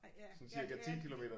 Nej ja ja ja